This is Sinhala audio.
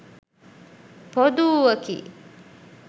පොදු වූවකි.